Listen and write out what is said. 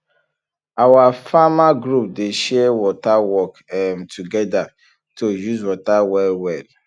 our farmer group dey share water work um together to use water well well